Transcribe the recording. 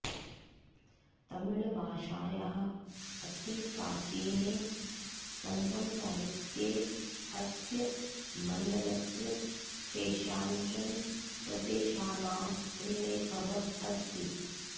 तमिऴ्भाषायाः अतिप्राचीने सङ्गमसाहित्ये अस्य मण्डलस्य केषाञ्चन प्रदेशानाम् उल्लेखः अस्ति